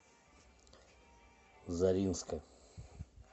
заринска